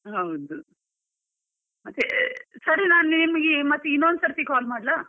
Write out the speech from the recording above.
ಹೌದು ಸರಿ ನಾನು ನಿಮಗೆ ಮತ್ತೆ ಇನ್ನೊಂದು ಸರ್ತಿ call ಮಾಡ್ಲಾ?